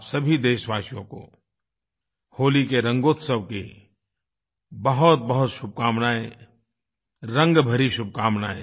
आप सभी देशवासियों को होली के रंगोत्सव की बहुतबहुत शुभकामनाएँ रंग भरी शुभकामनाएँ